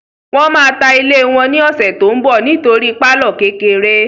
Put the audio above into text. Wọ́n máa ta ilé wọn ní ọ̀sẹ̀ tó n bọ̀ nítorí pálọ̀ kékeré